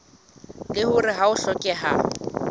leng hore ha ho hlokehe